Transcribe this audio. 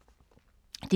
DR2